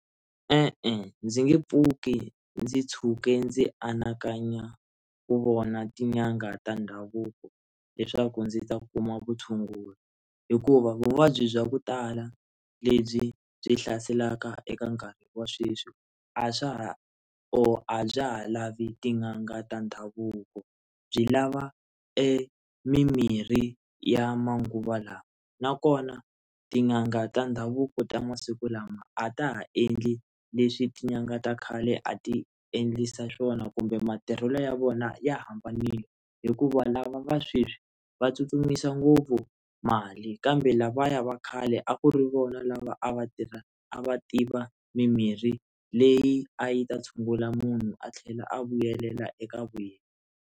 E-e, ndzi nge pfuki ndzi ntshuke ndzi anakanya ku vona tin'anga ta ndhavuko leswaku ndzi ta kuma vutshunguri hikuva vuvabyi bya ku tala lebyi byi hlaselaka eka nkarhi wa sweswi a swa or a bya ha lavi tin'anga ta ndhavuko byi lava emimirhi ya manguva lawa na kona tin'anga ta ndhavuko ta masiku lama a ta ha endli leswi tin'anga ta khale a ti endlisa swona kumbe matirhelo ya vona ya hambanile hikuva lava va sweswi va tsutsumisa ngopfu mali kambe lavaya va khale a ku ri vona lava a va tirha a va tiva mimirhi leyi a yi ta tshungula munhu a tlhela a vuyelela eka vu yena.